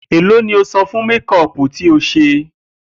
Èló ni o san fún méko̩ò̩pù tí o s̩e?